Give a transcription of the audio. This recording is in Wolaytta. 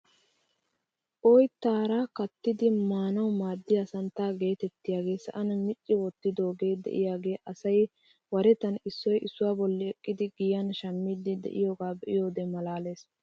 Oyttaara kaattidi maanawu maaddiyaa santtaa getettiyaaga sa'an micci wottidoogee de'iyaagaa asay warettan issoy issuwaa bolli eqqidi giyan shammiidi de'iyaage be'iyoode malaalees!